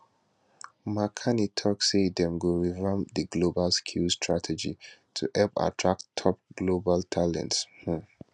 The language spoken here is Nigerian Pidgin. mark carney tok say dem go revamp di global skills strategy to help attract top global talent um